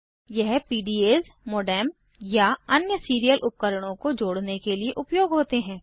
ये PDAs modem या अन्य सीरियल उपकरणों को जोड़ने के लिए उपयोग होते हैं